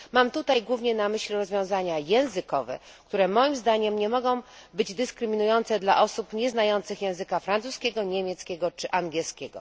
Mam tutaj głównie na myśli rozwiązania językowe, które moim zdaniem nie mogą być dyskryminujące dla osób nieznających języka francuskiego, niemieckiego czy angielskiego.